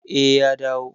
Eh, ya dawo